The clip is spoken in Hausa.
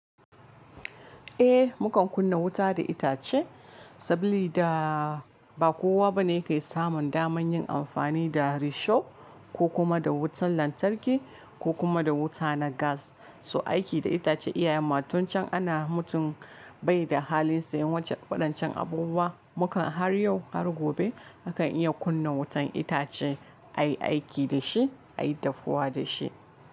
Eh, mu kan kunna wuta da itace saboda ba kowa bane yake samun daman yin amfani da risho ko kuma da wutan lantarki ko kuma da wuta na gas. So aiki da itace iyayenmu tuncen ana mutum bai da halin sayen wancan faɗancin abubuwa. Mu kan har yau har gobe mu kan iya kunna wutan itace, a yi aiki da shi, a yi dafuwa da shi.